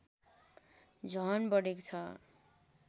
झन बढेको छ